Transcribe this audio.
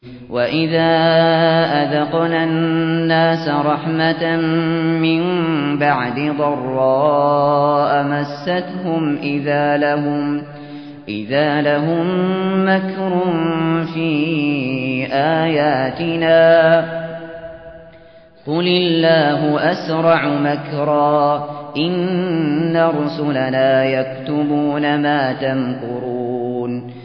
وَإِذَا أَذَقْنَا النَّاسَ رَحْمَةً مِّن بَعْدِ ضَرَّاءَ مَسَّتْهُمْ إِذَا لَهُم مَّكْرٌ فِي آيَاتِنَا ۚ قُلِ اللَّهُ أَسْرَعُ مَكْرًا ۚ إِنَّ رُسُلَنَا يَكْتُبُونَ مَا تَمْكُرُونَ